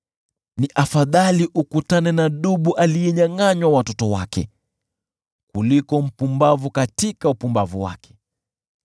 Ni afadhali ukutane na dubu aliyenyangʼanywa watoto wake, kuliko mpumbavu katika upumbavu wake.